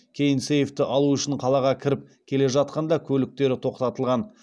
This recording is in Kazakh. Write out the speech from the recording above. кейін сейфті алу үшін қалаға кіріп келе жатқанда көліктері тоқтатылған